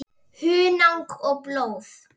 Hunang og blóð